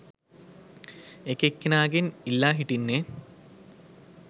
එක එක්කෙනාගෙන් ඉල්ලා හිටින්නේ?